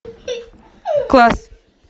класс